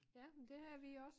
Ja men det havde vi også